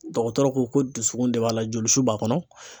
Dɔgɔtɔrɔ ko ko dusukun de b'a la jolisu b'a kɔnɔ